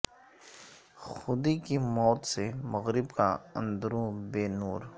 خودی کی موت سے مغرب کا اندروں بے نور